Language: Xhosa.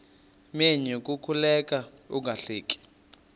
menyo kukuleka ungahleki